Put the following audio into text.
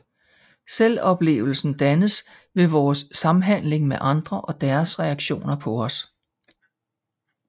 Selvoplevelsen dannes ved vores samhandling med andre og deres reaktioner på os